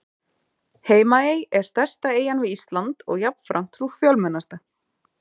Heimaey er stærsta eyjan við Ísland og jafnframt sú fjölmennasta.